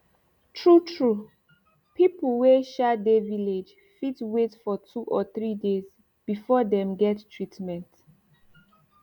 tru tru pipu wey um dey village fit wait for two or three days before dem get treatment